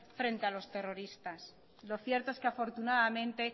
frente a los terroristas lo cierto es que afortunadamente